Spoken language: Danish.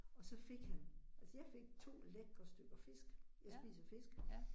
Og så fik han. Altså jeg fik 2 lækre stykker fisk, jeg spiser fisk